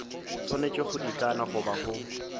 swanetše go ikana goba go